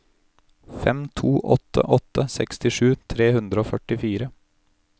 fem to åtte åtte sekstisju tre hundre og førtifire